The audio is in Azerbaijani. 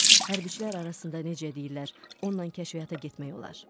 Hərbiçilər arasında necə deyirlər, onunla kəşfiyyata getmək olar.